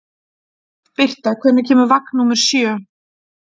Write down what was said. Birta, hvenær kemur vagn númer sjö?